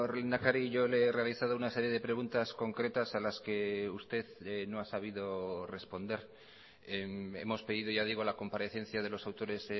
lehendakari yo le he realizado una serie de preguntas concretas a las que usted no ha sabido responder hemos pedido ya digo la comparecencia de los autores